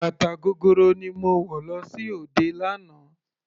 Bàtà gogoro ni mo wọ̀ lọ sí òde lánàá.